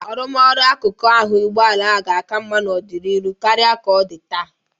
Arụmọrụ akụkụ ahụ ụgbọala ga-aka mma n'ọdịnihu karịa ka ọ dị taa.